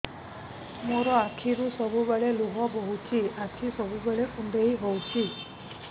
ମୋର ଆଖିରୁ ସବୁବେଳେ ଲୁହ ବୋହୁଛି ଆଖି ସବୁବେଳେ କୁଣ୍ଡେଇ ହଉଚି